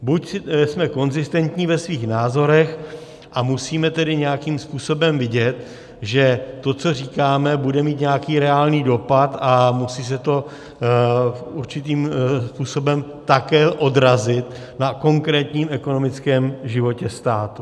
Buď jsme konzistentní ve svých názorech, a musíme tedy nějakým způsobem vidět, že to, co říkáme, bude mít nějaký reálný dopad a musí se to určitým způsobem také odrazit na konkrétním ekonomickém životě státu.